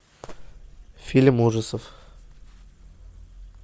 фильм ужасов